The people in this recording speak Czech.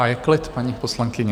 A je klid, paní poslankyně.